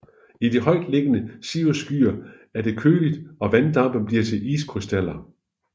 I de højt liggende cirrusskyer er det køligt og vanddamp bliver til iskrystaller